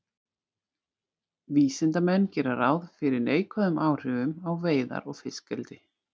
Vísindamenn gera ráð fyrir neikvæðum áhrifum á veiðar og fiskeldi.